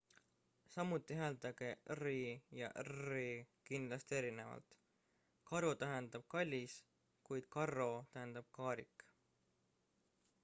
"samuti hääldage r-i ja rr-i kindlasti erinevalt: caro tähendab "kallis" kuid carro tähendab "kaarik"".